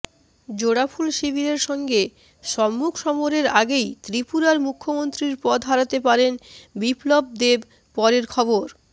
জোড়াফুল শিবিরের সঙ্গে সম্মুখ সমরের আগেই ত্রিপুরার মুখ্যমন্ত্রীর পদ হারাতে পারেন বিপ্লব দেব পরের খবর